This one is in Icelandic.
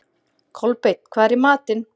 Kolbeinn, hvað er í matinn?